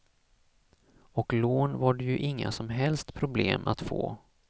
Och lån var det ju inga som helst problem att få.